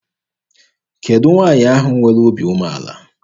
Kedụ nwaanyị ahụ nwere obi umeala?